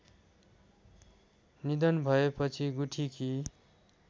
निधन भएपछि गुठीकी